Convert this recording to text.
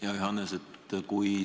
Hea Johannes!